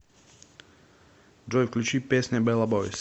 джой включи песня бела бойз